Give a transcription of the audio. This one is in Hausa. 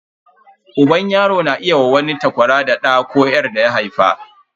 Uban yaro na iya wa wani takwara da ɗa ko 'yar daya haifa.